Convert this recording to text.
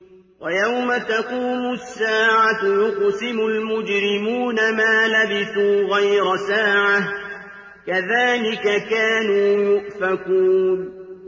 وَيَوْمَ تَقُومُ السَّاعَةُ يُقْسِمُ الْمُجْرِمُونَ مَا لَبِثُوا غَيْرَ سَاعَةٍ ۚ كَذَٰلِكَ كَانُوا يُؤْفَكُونَ